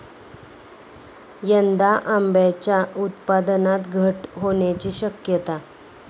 यंदा आंब्याच्या उत्पादनात घट होण्याची शक्यता